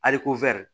Aliko wɛri